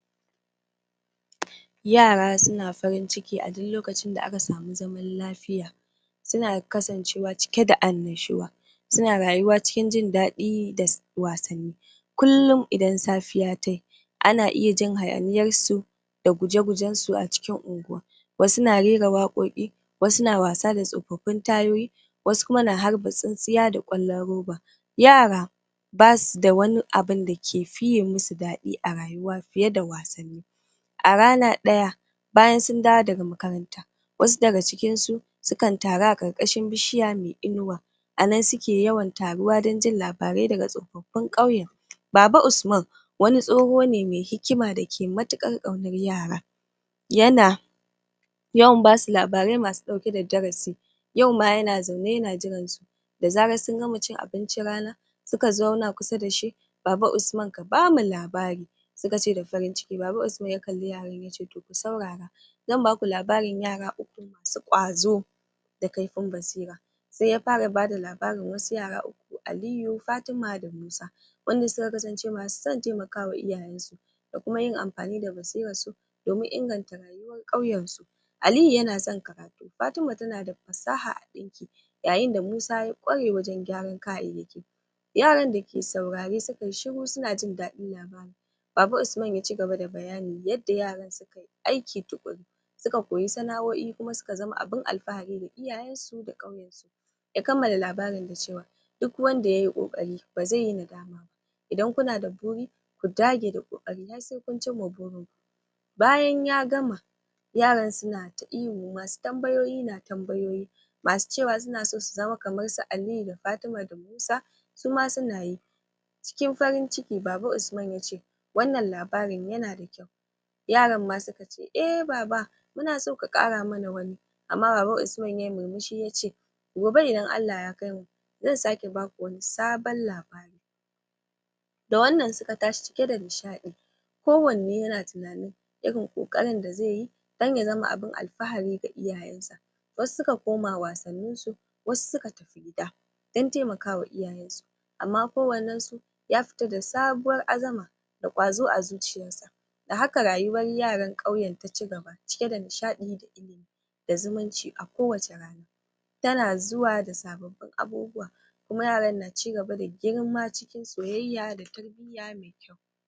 Yara suna farin ciki a duk lokacin da aka samu zaman lafiya suna kasancewa cike da annushuwa suna rayuwa cikin jin daɗi da wasanni kullun idan safiya ta yi ana iya jin hayaniyar su da guje-gujen su a cikin unguwa wasu na rera waƙoƙi, wasu na wasa da tsofaffin tayoyi, wasu kuma na harba tsintsiya da ƙwallon roba yara, basu da wani abun da ke fiye musu daɗi a rayuwa fiye da wasanni, a rana ɗaya bayan sun dawo daga makaranta wasu daga cikin su, sukan taru a ƙarƙashin bishiya, inuwa a nan suke yawan taruwa dan jin labarai daga tsofaffin ƙauye. Baba usman, wani tsoho ne me hikima da ke matuƙar ƙaunar yara yana yawan basu labarai masu ɗauke da darasi yau ma yana zaune yana jiran su da zaran sun gama cin abincin rana, suka zauna kusa da shi, baba Usman ka bamu labari suka ce da farin ciki, baba Usman ya kalli yaran, yace to ku saurara zan baku labarin yara uku, su ƙwazo, da kaifin basira, se ya fara bada labarin wasu yara uku, Aliyu, Fatima da Musa wanda suka kasance masu son temaka ma iyayen su, da kuma yin amfani da basiran su domin inganta ƙauyen su Aliyu yana son karatu, Fatima tana da fasaha, yayin da Musa ya ƙware wajen gyaran kayayyaki yaran da ke saurare suka yi shiru suna jin daɗin baba Usman ya cigaba da bayanin yadda yaran suke aiki tuƙuru suka koyi sana'oi kuma suka zama abin alfahari ga iyayen su da ƙauyen. Ya kammala labarin da cewa duk wanda yayi ƙoƙari ba zai yi nadama ba, idan kuna da buri ku dage da ƙoƙari har sai kun cin ma burin ku Bayan ya gama, yaran suna ta ihu, masu tambayoyi na ta tambayoyi, masu cewa suna so su zama kaman su Aliyu da Fatima da Musa, su ma suna yi, cikin farin ciki baba Usman yace wannan labarin yana da yaran ma suka ce eh, baba muna so ka ƙara mana wani, amma baba Usman yayi murmushi yace gobe idan Allah ya kaimu zan sake baku wani sabon labari da wannan suka tashi cike da nishaɗi, kowanne yana tunani irin ƙoƙarin da zai yi dan ya zama abin alfahari ga iyayen sa, wasu suka koma wasannin su, wasu suka tafi gida, dan taimaka ma iyayen su, amma kowannen su ya fita da sabuwar azama da ƙwazo a zuciyar sa, da haka rayuwar yaran ƙauyen ta cigaba cike da nishaɗi, da zumunci a kowacce rana tana zuwa da sababbin abubuwa kuma yaran na cigaba da girma cikin soyayya da tarbiyya me kyau.